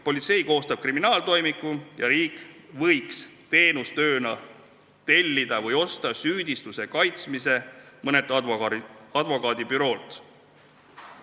Politsei koostab kriminaaltoimiku ja riik võiks teenustööna tellida või osta süüdistuse kaitsmise teenuse mõnelt advokaadibüroolt.